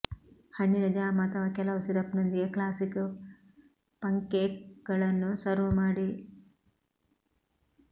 ಹಣ್ಣಿನ ಜಾಮ್ ಅಥವಾ ಕೆಲವು ಸಿರಪ್ನೊಂದಿಗೆ ಕ್ಲಾಸಿಕ್ ಪಂಕ್ಕೇಕ್ಗಳನ್ನು ಸರ್ವ್ ಮಾಡಿ